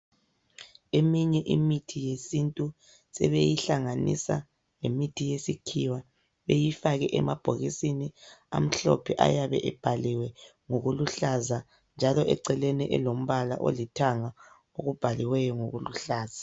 Eminye imithi yesintu sebeyihlanganisa lemithi yesikhiwa beyifake emabhokisini amhlophe ayabe ebhaliwe ngokuluhlaza njalo eceleni elombala olithanga okubhaliweyo ngokuluhlaza.